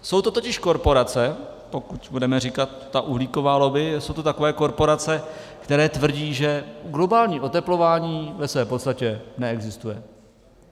Jsou to totiž korporace, pokud budeme říkat ta uhlíková lobby, jsou to takové korporace, které tvrdí, že globální oteplování ve své podstatě neexistuje.